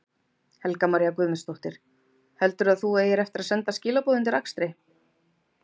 Helga María Guðmundsdóttir: Heldurðu að þú eigir eftir að senda skilaboð undir akstri?